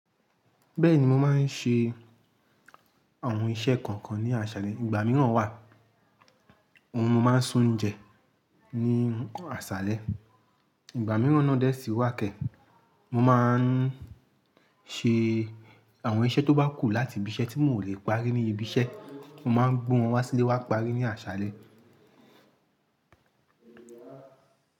Bẹ́ẹ̀ni, mo máa ń ṣe àwọn iṣẹ́ kọ̀ọ̀kan ní aṣálẹ́. Ìgbà mìíràn wà, ohun mo máa ń sún ún jẹ ní aṣálẹ́. Ìgbà mìíràn náà dẹ́ sí wá kẹ̀, mo máa ń ṣe àwọn iṣẹ́ tó bá kù láti ibi iṣẹ́ tí mo ò lè parí ní ibi iṣẹ́, mo máa ń gbó wọn wá sílé wa parí ní aṣálẹ́.